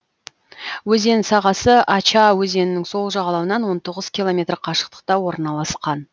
өзен сағасы ача өзенінің сол жағалауынан он тоғыз километр қашықтықта орналасқан